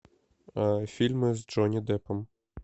фильмы с джонни деппом